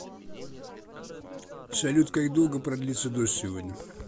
салют как долго продлится дождь сегодня